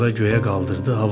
Sonra göyə qaldırdı.